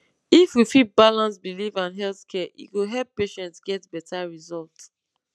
if we fit balance belief and health care e go help patient get better result